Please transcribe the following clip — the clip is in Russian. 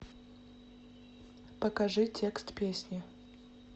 покажи текст песни